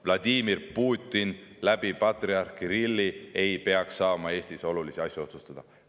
Vladimir Putin patriarh Kirilli kaudu ei peaks saama Eestis olulisi asju otsustada.